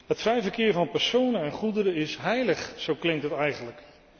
Dat vrij verkeer van personen en goederen is heilig, zo klinkt het eigenlijk.